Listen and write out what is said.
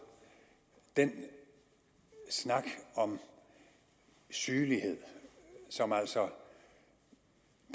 den snak om sygelighed som altså